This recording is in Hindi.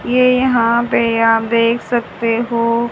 ये यहां पे आप देख सकते हो--